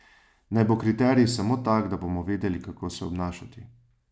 Naj bo kriterij samo tak, da bomo vedeli, kako se obnašati.